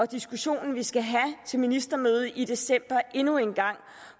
diskussion vi skal have til ministermødet i december endnu en gang